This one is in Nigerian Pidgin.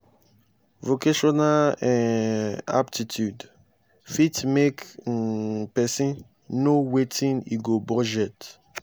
vocational um aptitude fit help um pesin know wetin e go budget.